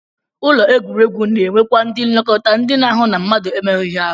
Ụlọ egwuregwu na-enwekwa ndị nlekọta ndị na-ahụ na mmadụ emerụghị ahụ